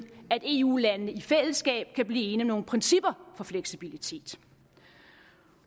at eu landene i fællesskab kan blive enige om nogle principper om fleksibilitet